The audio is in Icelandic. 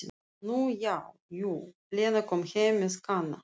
Nú já, jú, Lena kom heim með Kana.